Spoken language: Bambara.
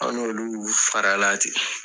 An n'olu farala ten